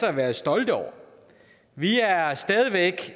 at være stolte over vi er stadig væk